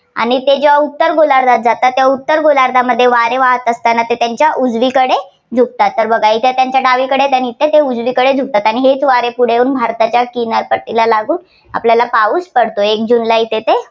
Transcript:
आणि ते जेव्हा उत्तर गोलार्धातात जातात तेव्हा उत्तर गोलार्धात वारे वाहत असताना ते त्यांच्या उजवीकडे झुकतात. तर बघा त्यांच्या डावीकडे आणि इथं ते उजवीकडे झुकतात. हेच वारे पुढे येऊन भारतात किनारपट्टीला लागून आपल्याला पाऊस पडतो एक जूनला येथे ते.